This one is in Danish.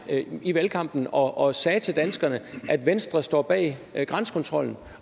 i valgkampen og sagde til danskerne at venstre står bag grænsekontrollen